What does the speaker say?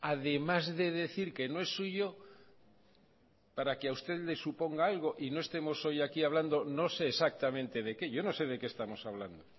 además de decir que no es suyo para que a usted le suponga algo y no estemos hoy aquí hablando no sé exactamente de qué yo no sé de qué estamos hablando